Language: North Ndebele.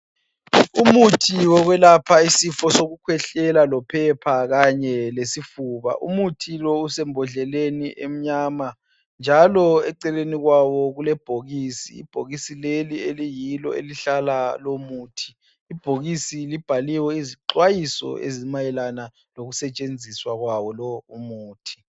Umuthi wokwelapha isifo sokukhwehlela lophepha kanye lesifuba. Umuthi lowu usembodleleni emnyama njalo eceleni kwawo kulebhokisi. Ibhokisi leli eliyilo elihlala lomuthi. Ibhokisi libhaliwe izixwayiso ezimayelana lokusetshenziswa kwawo lomuthi.